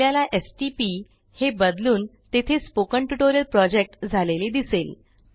आपल्याला stpहे बदलून तेथे स्पोकन ट्युटोरियल प्रोजेक्ट झालेले दिसेल